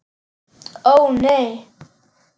Ó, nei!